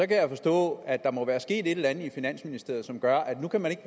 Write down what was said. kan jeg forstå at der må være sket et eller andet i finansministeriet som gør at nu kan man ikke